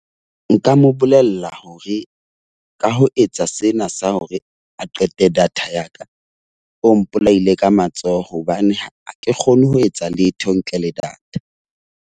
Nka mo bolella hore ka ho etsa sena sa hore a qete data ya ka, o mpolaile ka matsoho. Hobane ha ke kgone ho etsa letho ntle le data.